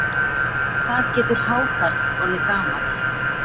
Hvað getur hákarl orðið gamall?